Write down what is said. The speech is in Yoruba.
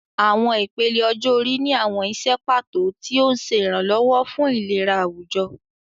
Àwọn ìpele ọjọ́ orí ní àwọn iṣẹ́ pàtó, tí ó ń ṣe ìrànlọ́wọ́ fún ìlera àwùjọ.